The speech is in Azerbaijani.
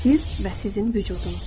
Sirr və sizin vücudunuz.